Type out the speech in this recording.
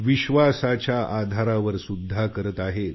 विश्वासाच्या आधारावर करत आहेत